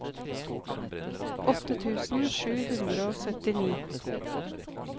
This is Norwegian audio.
åtte tusen sju hundre og syttini